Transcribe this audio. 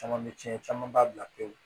Caman bɛ tiɲɛ camanba bila pewu